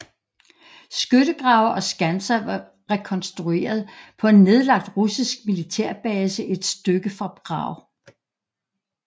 Skyttegrave og skanser var rekonstrueret på en nedlagt russisk militærbase et stykke fra Prag